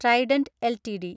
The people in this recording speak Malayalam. Trident LTD